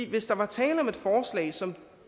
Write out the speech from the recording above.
hvis der var tale om et forslag som